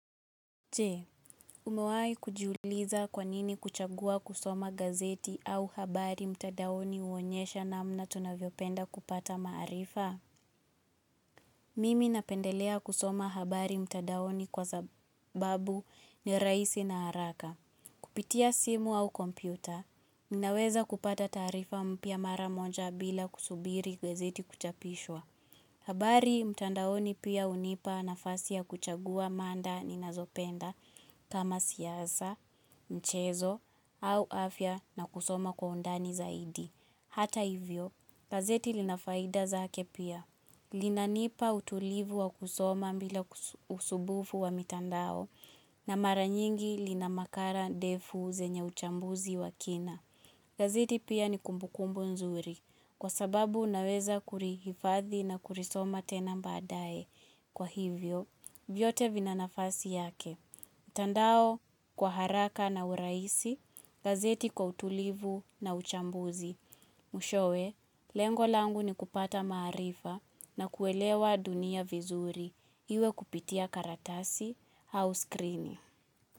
Je, umewahi kujiuliza kwanini kuchagua kusoma gazeti au habari mtandaoni huonyesha namna tunavyopenda kupata maarifa? Mimi napendelea kusoma habari mtadaoni kwa sababu ni rahisi na haraka. Kupitia simu au kompyuta, ninaweza kupata taarifa mpya mara moja bila kusubiri gazeti kuchapishwa. Habari, mtandaoni pia hunipa nafasi ya kuchagua mada ninazopenda kama siasa, mchezo, au afya na kusoma kwa undani zaidi. Hata hivyo, gazeti linafaida zake pia. Linanipa utulivu wa kusoma bila usumbufu wa mitandao na mara nyingi lina makala ndefu zenye uchambuzi wa kina. Gazeti pia ni kumbukumbu nzuri kwa sababu naweza kulihifadhi na kulisoma tena baadaye kwa hivyo. Vyote vina nafasi yake, mtandao kwa haraka na urahisi, gazeti kwa utulivu na uchambuzi. Mwishowe, lengo langu ni kupata maarifa na kuelewa dunia vizuri iwe kupitia karatasi au skrini.